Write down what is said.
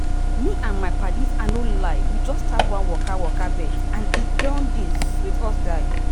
me and my padies i no lie we just start one waka waka bet and e don dey sweet us die.